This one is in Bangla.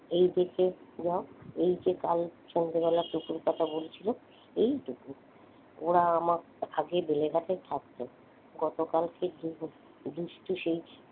এদিকে দেখো এই যে কাল সন্ধ্যেবেলা টুকুর কথা বলছিলুম এই টুকু ওরা আমাকে আগে বেলেঘাটায় থাকতো গতকালকে দু দুষ্টু সেই,